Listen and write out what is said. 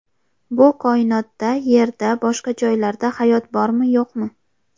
Bu koinotda Yerda boshqa joylarda hayot bormi, yo‘qmi?.